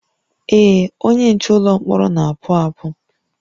Ee, onye nche ụlọ mkpọrọ na-apụ apụ